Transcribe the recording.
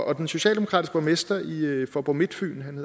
og den socialdemokratiske borgmester i i faaborg midtfyn